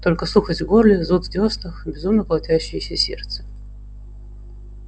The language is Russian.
только сухость в горле зуд в дёснах безумно колотящееся сердце